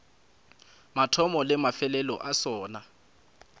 mathomo le mafelelo a sona